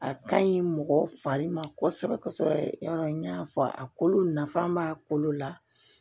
A ka ɲi mɔgɔ fari ma kosɛbɛ kosɛbɛ yarɔ n y'a fɔ a kolo nafa b'a kolo la